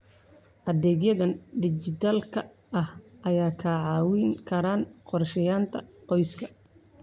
Adeegyada dijitaalka ah ayaa kaa caawin kara qorsheynta qoyska.